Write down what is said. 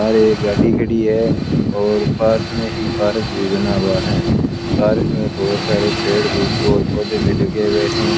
बाहर एक गाड़ी खड़ी है और पास में ही पार्क भी बना हुआ है पार्क में बहुत सारे पेड़ भी और पोधै भी लगे हुए हैं।